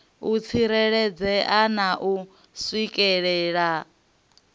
u tsireledzea na u swikelelea